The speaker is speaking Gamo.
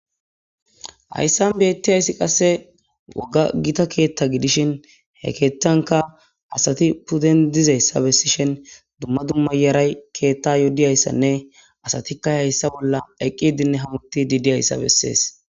hayssan beettiyayssi qasse waga gita keetta gidishin he keeththanka asati puden dizayssa bessishin dumma dumma yaray keetta yoddiyayssanne asatikka hayssa bolla eqqidinne hamuti diidiyayssa bessees